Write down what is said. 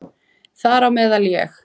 Þar á meðal ég.